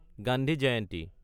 Gandhi Jayanti